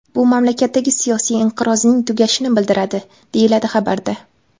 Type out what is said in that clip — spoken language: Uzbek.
Bu mamlakatdagi siyosiy inqirozning tugashini bildiradi” deyiladi xabarda.